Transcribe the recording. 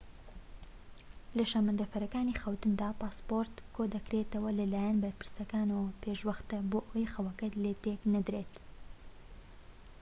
لە شەمەندەفەرەکانی خەوتندا پاسپۆرت کۆ دەکرێتەوە لەلایەن بەرپرسەکەوە پێش وەختە بۆ ئەوەی خەوەکەت لێ تێك نەدرێت